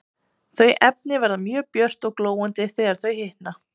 Þau efni verða mjög björt og glóandi þegar þau hitna.